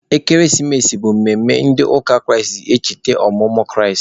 Ekeresimesi bụ mmemme ndị ụka Kraịst ji echeta ọmụmụ Kraịst.